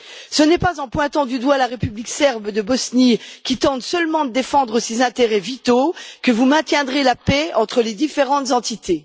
Ce n'est pas en pointant du doigt la République serbe de Bosnie, qui tente seulement de défendre ses intérêts vitaux, que vous maintiendrez la paix entre les différentes entités.